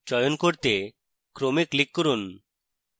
চয়ন করতে ক্রমে click করুন